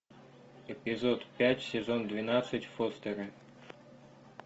эпизод пять сезон двенадцать фостеры